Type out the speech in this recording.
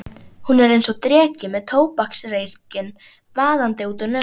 Hún er einsog dreki með tóbaksreykinn vaðandi út úr nösunum.